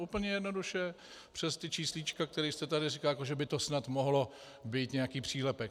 Úplně jednoduše přes ty číslíčka, které jste tady říkal, jako že by to snad mohl být nějaký přílepek.